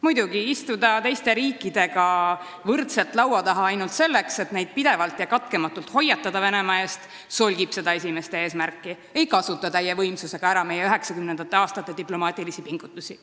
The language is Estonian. Muidugi solgib teiste riikidega laua taha istumine ainult selleks, et neid pidevalt ja katkematult Venemaa eest hoiatada, seda esimest eesmärki ja ei kasutata täie võimsusega ära meie 1990. aastate diplomaatilisi pingutusi.